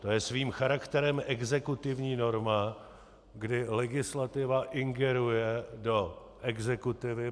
To je svým charakterem exekutivní norma, kdy legislativa ingeruje do exekutivy.